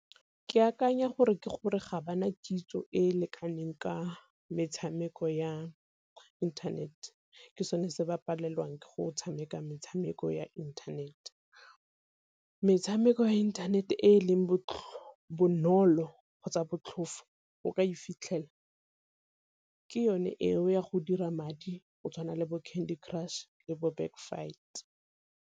Ke akanya gore ke gore ga bana kitso e e lekaneng ka metshameko ya internet, ke sone se ba palelwang ke go tshameka metshameko ya internet. Metshameko ya inthanete e e leng bonolo kgotsa botlhofo go ka e fitlhela ke yone eo ya go dira madi go tshwana le bo Candy Crush le bo Backfight.